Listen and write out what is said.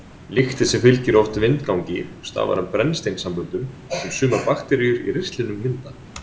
Lyktin sem fylgir oft vindgangi stafar af brennisteinssamböndum sem sumar bakteríur í ristlinum mynda.